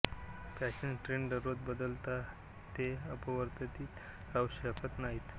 fashion trend दररोज बदलतात ते अपरिवर्तित राहू शकत नाहीत